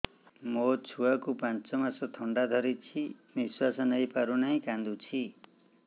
ମୋ ଛୁଆକୁ ପାଞ୍ଚ ମାସ ଥଣ୍ଡା ଧରିଛି ନିଶ୍ୱାସ ନେଇ ପାରୁ ନାହିଁ କାଂଦୁଛି